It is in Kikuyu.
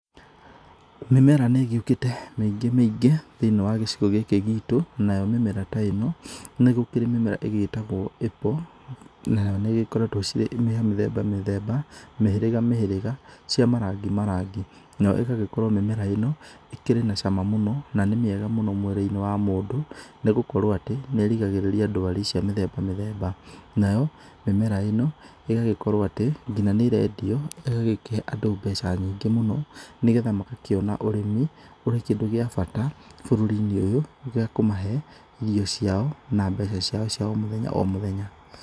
Mĩmera nĩ ĩgĩukĩte mĩingi mĩingĩ thĩiniĩ wa gĩcigo gĩkĩ gitũ. Nayo mĩmera ta ĩ no, nĩ gũkĩrĩ mĩmera ĩgĩtagwo apple, nayo nĩ ĩgĩkoretwo cirĩ ya mĩthemba mĩthemba, mĩhĩrĩga mĩhĩrĩga, cia marangi marangi. Nayo ĩgagĩkorwo mĩmera ĩno ĩkĩrĩ na cama mũno, na nĩ mĩega mũno mwĩrĩ-inĩ wa mũndũ, nĩ gũkorwo atĩ nĩ rĩgagĩrĩria ndwarĩ cia mĩthemba mĩthemba. Nayo mĩmera ĩno, ĩgagĩkorwo atĩ ngina nĩ ĩrendio, ĩgagĩkĩhe andũ mbeca nyingĩ mũno, nĩgetha magakĩona ũrĩmi ũrĩ kĩndũ gĩa bata bũrũrĩ-inĩ ũyũ, gĩa kũmahe irio ciao, na mbeca ciao cia o mũthenya o mũthenya.